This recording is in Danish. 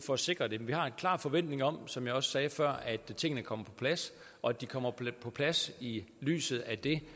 for at sikre det vi har en klar forventning om som jeg også sagde før at tingene kommer på plads og at de kommer på plads i lyset af det